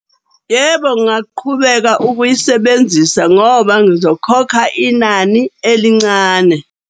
Yebo, ngaqhubeka ukuyisebenzisa ngoba ngizokhokha inani elincane.